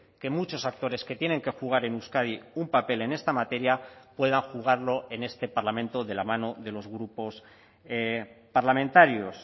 que muchos actores que tienen que jugar en euskadi un papel en esta materia pueda jugarlo en este parlamento de la mano de los grupos parlamentarios